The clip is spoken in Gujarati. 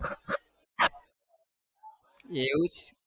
એવું છે?